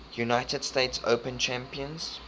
united states open champions